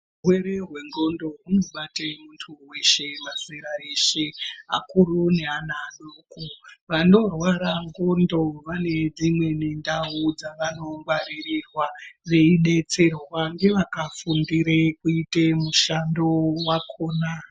Urwere hwendxondo hunobate muntu weshe mazera eshe, akuru neana adoko. Vanorwara ndxondo vane dzimweni ndau dzavanongwaririrwa dzeidetserwe ngevakafundira kuita mushando wakona.